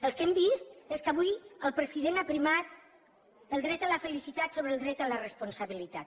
el que hem vist és que avui el president ha primat el dret a la felicitat sobre el dret a la responsabilitat